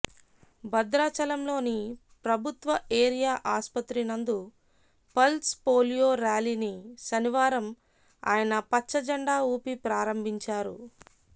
భద్రాచలంలోని ప్రభుత్వ ఏరియా ఆస్పత్రి నందు పల్స్ పోలియో ర్యాలీని శనివారం ఆయన పచ్చజెండా ఊపి ప్రారంభించారు